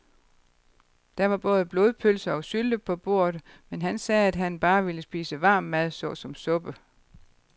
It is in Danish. Der var både blodpølse og sylte på bordet, men han sagde, at han bare ville spise varm mad såsom suppe.